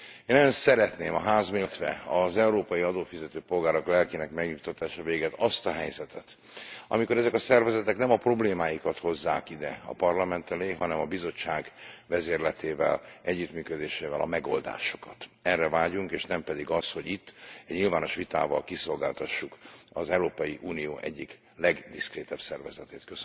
Én nagyon szeretném a Ház méltósága, illetve az európai adófizető polgárok lelkének megnyugtatása végett azt a helyzetet, amikor ezek a szervezetek nem a problémáikat hozzák ide a Parlament elé, hanem a Bizottság vezérletével, együttműködésével a megoldásokat. Erre vágyunk, és nem pedig arra, hogy itt egy nyilvános vitával kiszolgáltassuk az Európai Unió egyik legdiszkrétebb szervezetét.